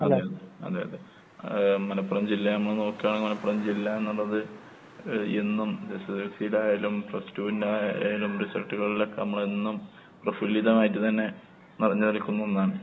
അതെ അതെ, അതെ അതെ. ഏഹ് മലപ്പുറം ജില്ല നമ്മള് നോക്ക്കാണെങ്കിൽ മലപ്പുറം ജില്ല എന്നുള്ളത് എഹ് എന്നും എസ്എസ്എൽസിടെ ആയാലും പ്ലസ് ടുവിന്റെ ആയാലും റിസൾട്ടുകളിലൊക്കെ നമ്മളെന്നും പ്രഫുല്ലിതമായിട്ട് തന്നെ നെറഞ്ഞ് നിൽക്കുന്ന ഒന്നാണ്.